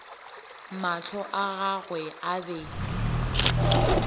mahlo a gagwe a be